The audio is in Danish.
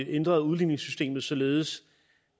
ændret udligningssystemet således